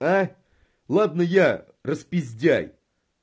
ладно я распиздяй